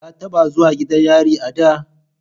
Ka taba zuwa gidan yari a da?